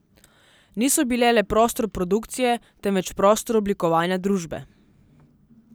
Niso bile le prostor produkcije, temveč prostor oblikovanja družbe.